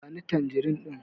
Ba ni tanjirin ɗin!